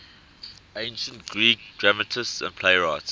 ancient greek dramatists and playwrights